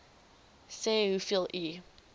sê hoeveel u